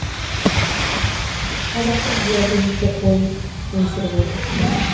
қазақтың биязы жүнді қойын өсіріп отыр